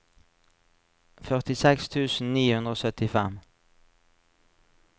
førtiseks tusen ni hundre og syttifem